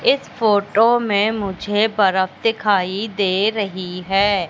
इस फोटो में मुझे बरफ दिखाई दे रही है।